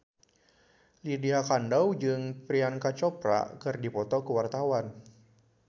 Lydia Kandou jeung Priyanka Chopra keur dipoto ku wartawan